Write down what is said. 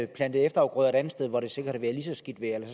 plante efterafgrøder et andet sted hvor det sikkert har været lige så skidt vejr